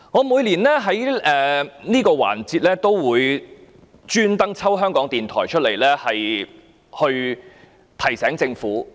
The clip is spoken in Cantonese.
每年在這個環節中，我也會刻意提及港台，從而提醒政府。